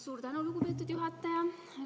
Suur tänu, lugupeetud juhataja!